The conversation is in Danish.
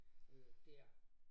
Øh dér